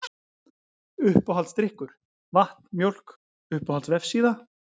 Uppáhaldsdrykkur: Vatn, Mjólk Uppáhalds vefsíða?